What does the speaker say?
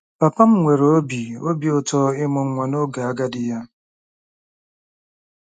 Papa m nwere obi obi ụtọ ịmụ nwa n'oge agadi ya.